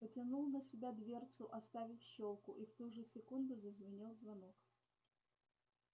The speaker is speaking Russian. потянул на себя дверцу оставив щёлку и в ту же секунду зазвенел звонок